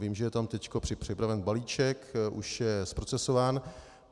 Vím, že je tam teď připraven balíček, už je procesován.